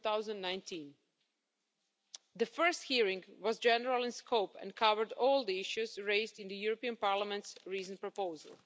2019. The first hearing was general in scope and covered all the issues raised in the European Parliament's recent proposal.